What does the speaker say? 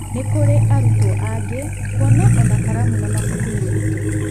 Nĩ kũrĩ arutwo angĩ kuona kũona ona karamu na mabuku nĩ ũritũ.